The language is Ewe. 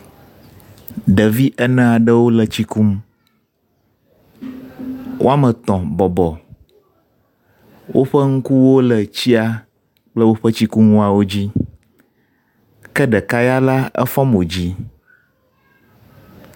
ɖevi eneaɖewo le tsi kum woametɔ̃ bɔbɔ, wóƒe ŋkuwo le tsia kple tsikuŋuwo dzi ke ɖeka ya la éfɔ mo dzí